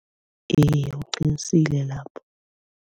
Iye uqinisile lapho.